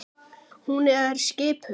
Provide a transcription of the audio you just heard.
Hún er skipuð.